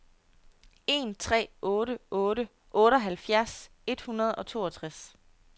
en tre otte otte otteoghalvfjerds et hundrede og toogtres